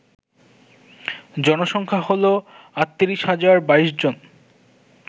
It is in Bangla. জনসংখ্যা হল ৩৮০২২ জন